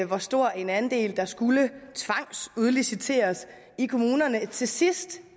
hvor stor en andel der skulle tvangsudliciteres i kommunerne og til sidst